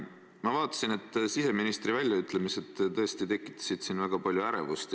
Ma nägin, et siseministri väljaütlemised tekitasid siin väga palju ärevust.